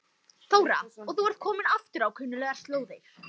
Þóra: Og þú ert kominn aftur á kunnuglegar slóðir?